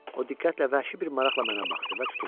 O diqqətlə, vəhşi bir maraqla mənə baxdı və tutuldu.